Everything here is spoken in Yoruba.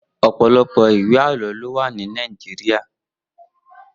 Opọlọpọ iwé àlọ ló wà ni Nàijiriá